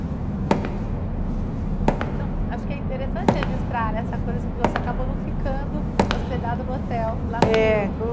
Então, acho que é interessante registrar né, essa coisa assim de você acabou não ficando hospedada no hotel lá no Rio.